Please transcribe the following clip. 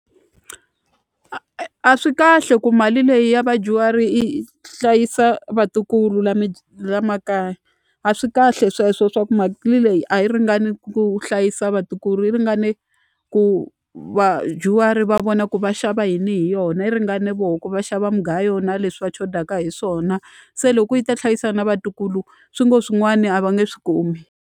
a swi kahle ku mali leyi ya vadyuhari yi hlayisa vatukulu la makaya a swi kahle sweswo swa ku leyi a yi ringani ku hlayisa vatukulu yi ringane ku vadyuhari va vona ku va xava yini hi yona yi ringane voho ku va xava mugayo na leswi va chodaka hi swona se loko yi ta hlayisa na vatukulu swi ngo swin'wani a va nge swi kumi.